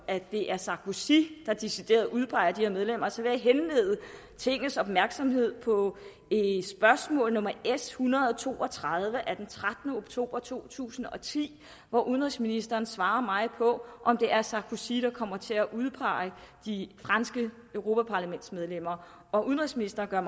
at det er sarkozy der decideret udpeger de her medlemmer så vil jeg henlede tingets opmærksomhed på spørgsmål nummer s en hundrede og to og tredive af trettende oktober to tusind og ti hvor udenrigsministeren svarede mig på om det er sarkozy der kommer til at udpege de franske europaparlamentsmedlemmer udenrigsministeren gør